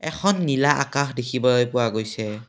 এখন নীলা আকাশ দেখিবলৈ পোৱা গৈছে।